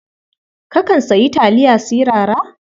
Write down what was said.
Kakan sayi taliya sirara?